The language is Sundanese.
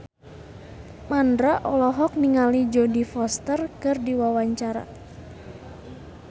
Mandra olohok ningali Jodie Foster keur diwawancara